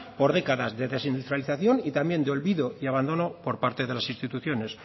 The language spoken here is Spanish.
por décadas de desindustrialización y también de olvido y abandono por parte de las instituciones